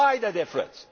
Why the difference?